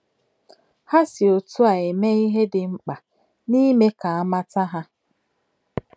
Ha si otú a mee ihe dị mkpa n’ime ka a mata ha.